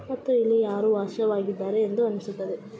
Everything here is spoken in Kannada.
ಮತ್ತು ಇಲ್ಲಿ ಯಾರೋ ವಾಸವಾಗಿದ್ದಾರೆ ಎಂದು ಅನಿಸುತ್ತದೆ.